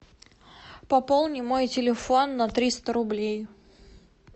пополни мой телефон на триста рублей